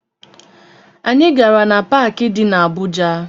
Anyị gara na paakị dị na Abuja